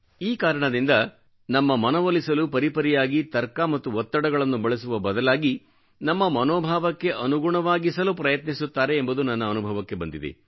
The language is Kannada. ಈ ಕಾರಣದಿಂದ ನಮ್ಮ ಮನವೊಲಿಸಲು ಪರಿ ಪರಿಯಾಗಿ ತರ್ಕ ಮತ್ತು ಒತ್ತಡಗಳನ್ನು ಬಳಸುವ ಬದಲಾಗಿ ನಮ್ಮ ಮನೋಭಾವಕ್ಕೆ ಅನುಗುಣವಾಗಿಸಲು ಪ್ರಯತ್ನಿಸುತ್ತಾರೆ ಎಂಬುದು ನನ್ನ ಅನುಭವಕ್ಕೆ ಬಂದಿದೆ